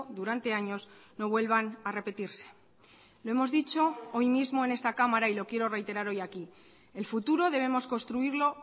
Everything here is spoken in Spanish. durante años no vuelvan a repetirse lo hemos dicho hoy mismo en esta cámara y lo quiero reiterar hoy aquí el futuro debemos construirlo